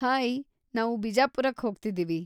Hi! ನಾವು ಬಿಜಾಪುರಕ್ಕೆ ಹೋಗ್ತಿದೀವಿ.